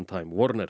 time